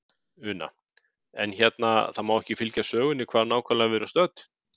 Una: En hérna, það má ekki fylgja sögunni hvar nákvæmlega við erum stödd?